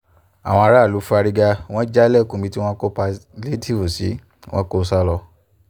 àwọn aráàlú fárígá wọn jálẹ̀kùn ibi tí wọ́n kó pálíétììfù sí wọn kó o sá lọ